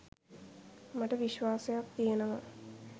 මට විශ්වාසයක් තියෙනවා